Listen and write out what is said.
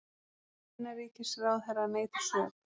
Fyrrum innanríkisráðherra neitar sök